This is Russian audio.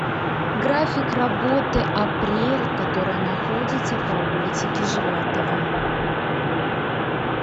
график работы апрель которая находится по улице кижеватова